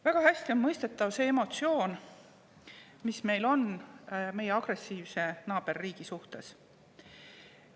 Väga hästi on mõistetav see emotsioon, mis meil on meie agressiivse naaberriigi suhtes.